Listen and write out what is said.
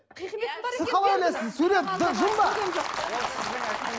сіз қалай ойлайсыз сурет жын ба